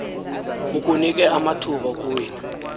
kukunike amathuba okuwina